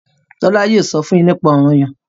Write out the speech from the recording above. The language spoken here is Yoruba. Tola yóò sọ fún yín nípa Ọranyan.